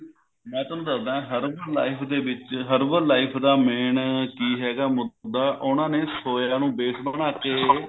ਮੈਂ ਤੁਹਾਨੂੰ ਦੱਸਦਾ herbal life ਦੇ ਵਿੱਚ herbal life ਦੇ ਵਿੱਚ herbal life ਦਾ main ਕਿ ਹੈਗਾ ਮੁੱਦਾ ਉਹਨਾਂ ਨੇ soya ਨੂੰ base ਬਣਾਕੇ